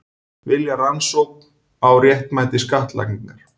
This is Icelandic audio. Vilja rannsókn á réttmæti skattlagningar